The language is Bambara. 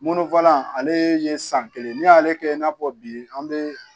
Mɔnɔn ale ye san kelen n'i y'ale kɛ i n'a fɔ bi an bɛ